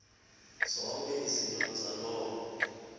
zonke izinto zaloo